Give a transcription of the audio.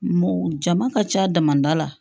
Mo jama ka ca dama da la